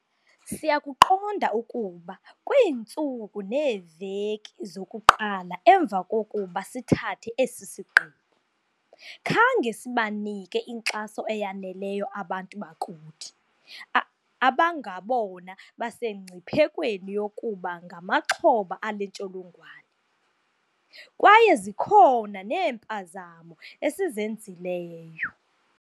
Siyakuqonda ukuba kwiintsuku neeveki zokuqala emva kokuba sithathe esi sigqibo, khange sibanike inkxaso eyaneleyo abantu bakuthi a abangabona basemngciphekweni yokuba ngamaxhoba ale ntsholongwane, kwaye zikhona neempazamo esizenzileyo.